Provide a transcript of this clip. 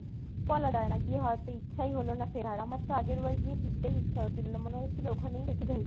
বলা যায়না গিয়ে হয়তো ইচ্ছাই হলোনা ফেরার, আমার তো আগের বার গিয়ে ফিরতেই ইচ্ছা হচ্ছিলো না, মনে হচ্ছিলো ওখানেই থেকে যাই